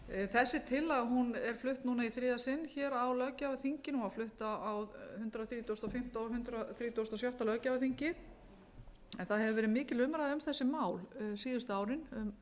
þessi tillaga hún er flutt núna í þriðja sinn hér á löggjafarþinginu hún var flutt á hundrað þrítugasta og fimmta og hundrað þrítugasta og sjötta löggjafarþingi en það hefur verið mikil umræða um þessi mál síðustu árin um